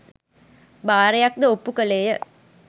භාරයක් ද ඔප්පු කළේය.